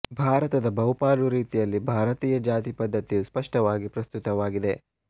ಭಾರತದ ಬಹುಪಾಲು ರೀತಿಯಲ್ಲಿ ಭಾರತೀಯ ಜಾತಿ ಪದ್ಧತಿಯು ಸ್ಪಷ್ಟವಾಗಿ ಪ್ರಸ್ತುತವಾಗಿದೆ